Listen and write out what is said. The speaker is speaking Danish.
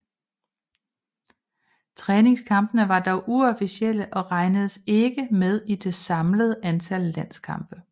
Træningskampene var dog uofficielle og regnes ikke med i det samlede antal landskampe